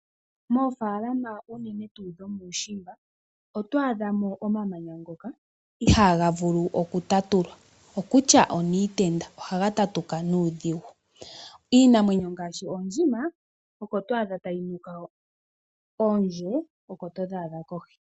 Moofaalama unene tuu dho muushimba oto adhamo omamanya ngoka ihaga vulu oku tatulwa, okutya oniitenda, ohaga tatuka nuudhigu. Iinamwenyo ngaashi oondjima oko twaadha tayi nuka hoka , oondje, oko todha adha kohi.